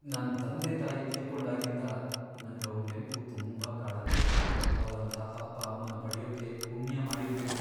ನನ್ ತಂದೆ ತಾಯಿ ತೀರ್ಕೊಂಡಾಗಿಂದ ನಂಗ್ ಅವ್ರ್ ನೆನ್ಪು ತುಂಬಾ ಕಾಡತ್ತೆ. ಅವ್ರಂಥ ಅಪ್ಪ ಅಮ್ಮನ್ ಪಡ್ಯೋಕೆ ಪುಣ್ಯ ಮಾಡಿರ್ಬೇಕು.